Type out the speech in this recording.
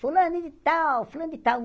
Fulano de tal, fulano de tal.